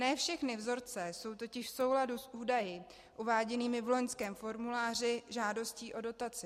Ne všechny vzorce jsou totiž v souladu s údaji uváděnými v loňském formuláři žádostí o dotaci.